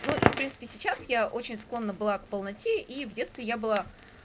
ну и в принципе сейчас я очень склонна была к полноте и в детстве я была